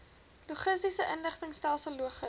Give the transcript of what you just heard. logistiese inligtingstelsel logis